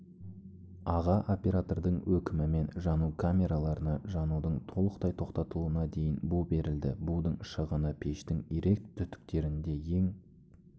аға оператордың өкімімен жану камераларына жанудың толықтай тоқтатылуына дейін бу берілді будың шығыны пештің ирек түтіктерінде ең